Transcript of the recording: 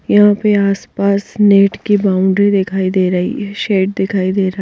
यहाँ पे आसपास नेट की बाउंड्री दिखाई दे रही है शेड दिखाई दे रहा --